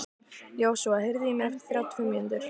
Joshua, heyrðu í mér eftir þrjátíu og fimm mínútur.